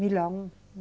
Milão?